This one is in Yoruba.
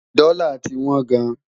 dòla tí wón gáàn